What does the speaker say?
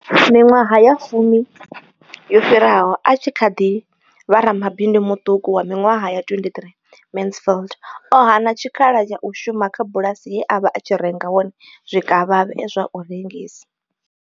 Miṅwaha ya fumi yo fhiraho, a tshi kha ḓi vha ramabindu muṱuku wa miṅwaha ya 23, Mansfield o hana tshikhala tsha u shuma kha bulasi ye a vha a tshi renga hone zwikavhavhe zwa u rengisa.